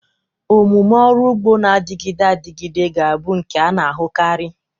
Omume ọrụ ugbo na-adịgide adịgide ga-abụ nke a na-ahụkarị.